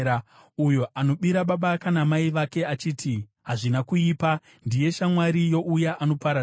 Uyo anobira baba kana mai vake achiti, “Hazvina kuipa,” ndiye shamwari youya anoparadza.